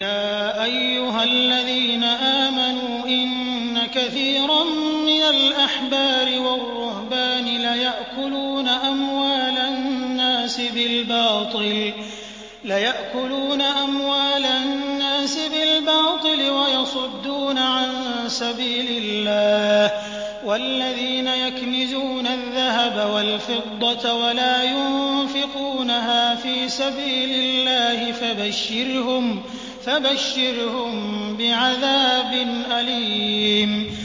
۞ يَا أَيُّهَا الَّذِينَ آمَنُوا إِنَّ كَثِيرًا مِّنَ الْأَحْبَارِ وَالرُّهْبَانِ لَيَأْكُلُونَ أَمْوَالَ النَّاسِ بِالْبَاطِلِ وَيَصُدُّونَ عَن سَبِيلِ اللَّهِ ۗ وَالَّذِينَ يَكْنِزُونَ الذَّهَبَ وَالْفِضَّةَ وَلَا يُنفِقُونَهَا فِي سَبِيلِ اللَّهِ فَبَشِّرْهُم بِعَذَابٍ أَلِيمٍ